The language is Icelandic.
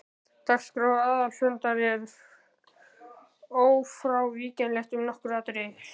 Dagskrá aðalfundar er ófrávíkjanleg um nokkur atriði.